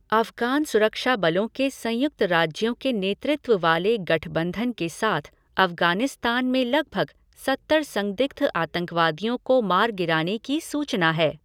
अफ़गान सुरक्षा बलों के संयुक्त राज्यों के नेतृत्व वाले गठबंधन के साथ अफ़गानिस्तान में लगभग सत्तर संदिग्ध आतंकवादियों को मार गिराने की सूचना है।